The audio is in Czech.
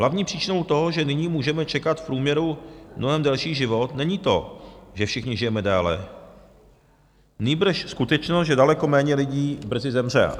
Hlavní příčinou toho, že nyní můžeme čekat v průměru mnohem delší život, není to, že všichni žijeme déle, nýbrž skutečnost, že daleko méně lidí brzy zemře.